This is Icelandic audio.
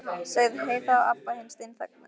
sagði Heiða og Abba hin steinþagnaði.